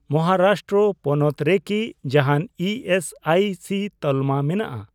ᱢᱚᱦᱟᱨᱟᱥᱴᱨᱚ ᱯᱚᱱᱚᱛ ᱨᱮᱠᱤ ᱡᱟᱦᱟᱱ ᱤ ᱮᱥ ᱟᱭ ᱥᱤ ᱛᱟᱞᱢᱟ ᱢᱮᱱᱟᱜᱼᱟ ?